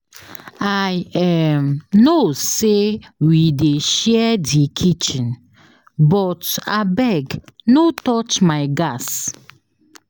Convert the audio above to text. I [um]know sey we dey share di kitchen but abeg no touch my gas.